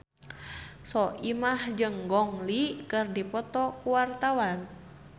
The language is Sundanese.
Soimah jeung Gong Li keur dipoto ku wartawan